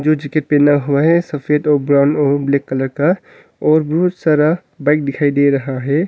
Jacket पहना हुआ है सफेद और ब्राउन और ब्लैक कलर का और बहुत सारा बाइक दिखाई दे रहा है।